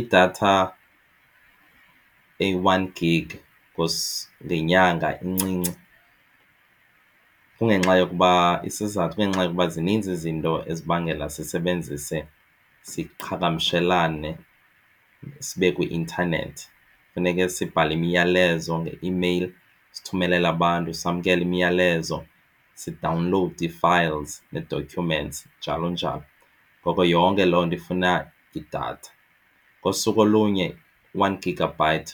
Idatha eyi-one Gig ngenyanga incinci isizathu kungenxa yokuba zininzi izinto ezibangela sisebenzise siqhagamshelane sibe kwi-intanethi. Funeke sibhale imiyalezo ngeimeyile sithumelele abantu samkele imiyalezo sidawunlowude ii-files nee-documents njalo njalo. Ngoko yonke loo nto ifuna idatha ngosuku olunye u-one gigabyte